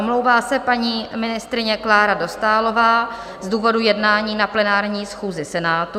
Omlouvá se paní ministryně Klára Dostálová z důvodu jednání na plenární schůzi Senátu.